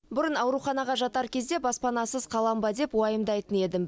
бұрын ауруханаға жатар кезде баспанасыз қалам ба деп уайымдайтын едім